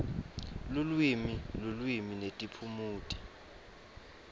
lulwimi lulwimi netiphumuti